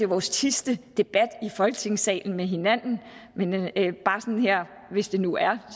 vores sidste debat i folketingssalen med hinanden men hvis det nu er